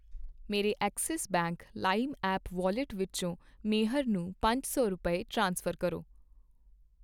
ਮੇਰੇ Axis Bank Lime app wallet ਵਿੱਚੋ ਮੇਹਰ ਨੂੰ ਪੰਜ ਸੌ ਰੁਪਏ, ਟ੍ਰਾਂਸਫਰ ਕਰੋ